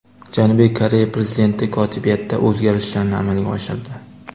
Janubiy Koreya prezidenti kotibiyatda o‘zgarishlarni amalga oshirdi.